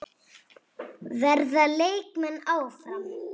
Verða leikmenn áfram?